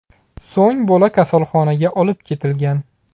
So‘ng bola kasalxonaga olib ketilgan.